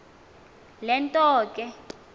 le nto ke